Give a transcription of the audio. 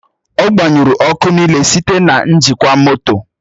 Ọ gbanyụrụ ọkụ niile site na njikwa moto.